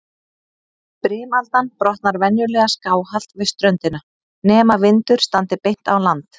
Brimaldan brotnar venjulega skáhallt við ströndina, nema vindur standi beint á land.